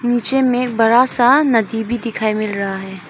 नीचे में बड़ा सा नदी भी दिखाई मिल रहा है।